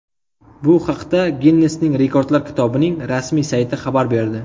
Bu haqda Ginnesning rekordlar kitobining rasmiy sayti xabar berdi.